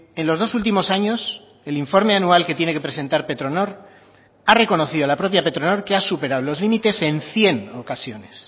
en los dos últimos años el informe anual que tiene que presentar petronor ha reconocido la propia petronor que ha superado los límites en cien ocasiones